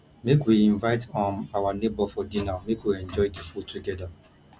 make we invite um our nebor for dinner make we enjoy di food togeda